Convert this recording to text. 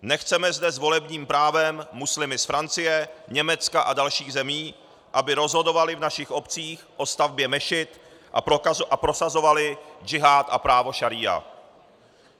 Nechceme zde s volebním právem muslimy z Francie, Německa a dalších zemí, aby rozhodovali v našich obcích o stavbě mešit a prosazovali džihád a právo šaría.